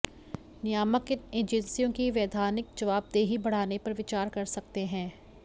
नियामक इन एजेंसियों की वैधानिक जवाबदेही बढ़ाने पर विचार कर सकते हैं